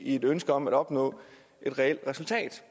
et ønske om at opnå et reelt resultat